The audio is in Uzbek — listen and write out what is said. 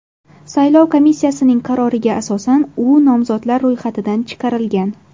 Saylov komissiyasining qaroriga asosan u nomzodlar ro‘yxatidan chiqarilgan.